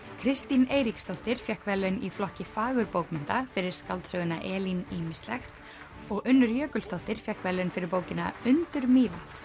Kristín Eiríksdóttir fékk verðlaun í flokki fagurbókmennta fyrir skáldsöguna Elín ýmislegt og Unnur Jökulsdóttir fékk verðlaun fyrir bókina undur Mývatns